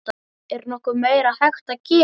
Er nokkuð meira hægt að gera?